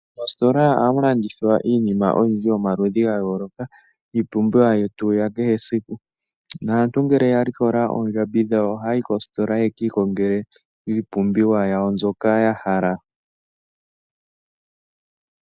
Oositola ohamu landithwa iinima oyindji yomaludhi ga yooloka, iipumbiwa yetu ya kehe esiku. Naantu ngele ya likola oondjambi dhawo, ohaya yi koositola, yaka ikongele iipumbiwa yawo mbyoka ya hala.